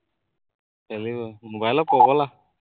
খেলিবই, মবাইলৰ পগলা